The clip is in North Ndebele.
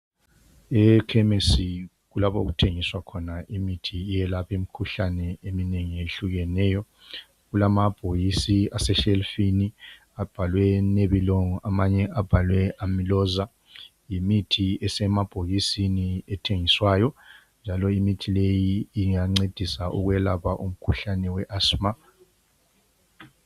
Ekhemisi lapho okuthengiswa khona imithi eyelapha imkhuhlane eminengi eyehlukeneyo. Kulama bhokisi ase shelufini abhalwe Melilong amanye abhalwe Amloza. Yimithi esemabhokisini ethengiswayo. Njalo imithi leyi ingancedisa ukwelapha umkhuhlane we Asima.